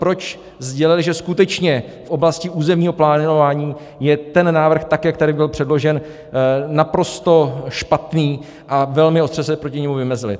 Proč sdělili, že skutečně v oblasti územního plánování je ten návrh, tak jak tady byl předložen, naprosto špatný, a velmi ostře se proti němu vymezili?